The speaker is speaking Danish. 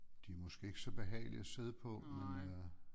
De er måske ikke så behagelige at sidde på men øh